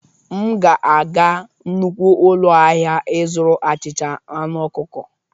M ga-aga nnukwu ụlọ ahịa ịzụrụ achịcha aṅụ ọkụkọ.